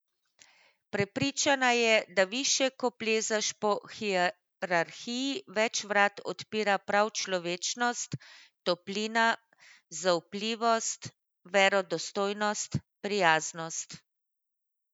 Prepričana je, da višje ko plezaš po hierarhiji, več vrat odpira prav človečnost, toplina, zaupljivost, verodostojnost, prijaznost.